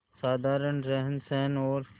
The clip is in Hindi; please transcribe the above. साधारण रहनसहन और